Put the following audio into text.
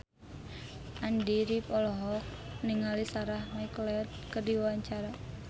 Andy rif olohok ningali Sarah McLeod keur diwawancara